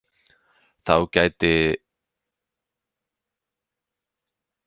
Þá gætti nokkurrar ónákvæmni í fjárhæðum sem leiddu til skekkju í lokamatinu.